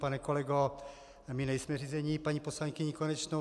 Pane kolego, my nejsme řízeni paní poslankyní Konečnou.